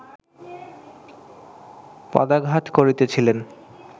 পদাঘাত করিতেছিলেন